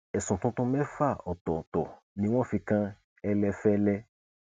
ẹsùn tuntun mẹfà ọtọọtọ ni wọn fi kan ẹlẹfẹlẹ